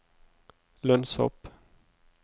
lønnshopp